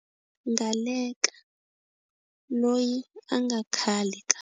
Ngaleka, loyi a nga khale ka.